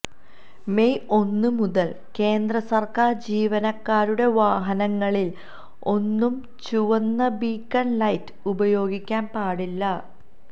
May ഒന്ന് മുതൽ കേന്ദ്ര സർക്കാർ ജീവനക്കാരുടെ വാഹനങ്ങളിൽ ഒന്നും ചുവന്ന ബീക്കൺ ലൈറ്റ് ഉപയോഗിക്കാൻ പാടില്ല